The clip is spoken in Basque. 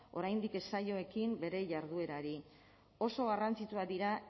oraindik ez zaio ekin bere jarduerari oso garrantzitsuak dira